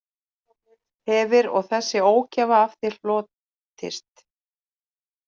Hefir og þessi ógæfa af þér hlotist